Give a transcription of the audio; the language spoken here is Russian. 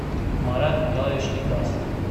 марат николаевич некрасов